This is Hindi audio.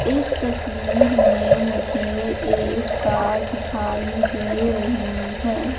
इस तस्वीर में मुझे एक कार दिखाई दे रही है।